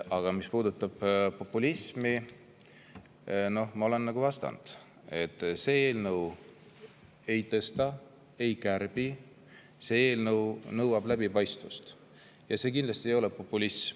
Aga mis puudutab populismi, siis ma olen vastanud, et see eelnõu ei tõsta ega kärbi, see eelnõu nõuab läbipaistvust, ja see kindlasti ei ole populism.